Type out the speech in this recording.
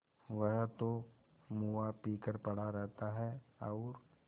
वह तो मुआ पी कर पड़ा रहता है और